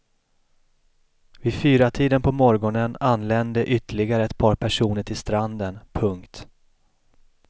Vid fyratiden på morgonen anlände ytterligare ett par personer till stranden. punkt